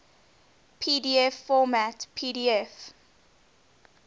pdf format pdf